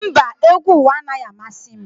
Mba, egwu ụwa anaghị amasị m